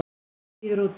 Hann bíður úti.